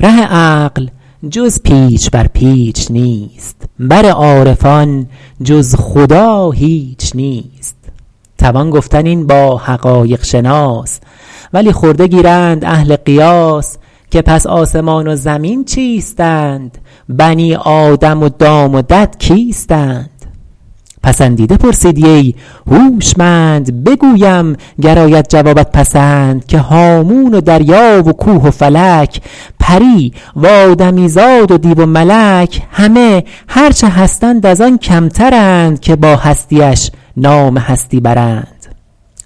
ره عقل جز پیچ بر پیچ نیست بر عارفان جز خدا هیچ نیست توان گفتن این با حقایق شناس ولی خرده گیرند اهل قیاس که پس آسمان و زمین چیستند بنی آدم و دام و دد کیستند پسندیده پرسیدی ای هوشمند بگویم گر آید جوابت پسند که هامون و دریا و کوه و فلک پری و آدمی زاد و دیو و ملک همه هرچه هستند از آن کمترند که با هستیش نام هستی برند